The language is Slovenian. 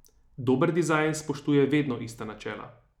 Dober dizajn spoštuje vedno ista načela.